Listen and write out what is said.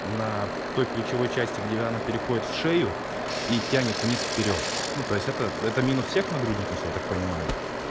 на той плечевой части где она переходит в шею и тянет вниз вперёд ну то есть это это минус всех нагрудников я так понимаю